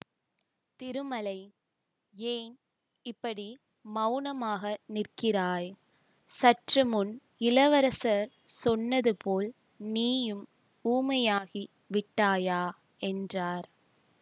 திருமலை ஏன் இப்படி மௌனமாக நிற்கிறாய் சற்று முன் இளவரசர் சொன்னதுபோல் நீயும் ஊமையாகி விட்டாயா என்றார்